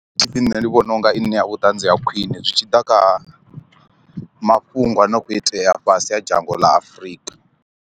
T_v nṋe ndi vhona u nga i ṋea vhuṱanzi ha khwine zwi tshi ḓa kha mafhungo a no kho itea fhasi a dzhango ḽa Afurika.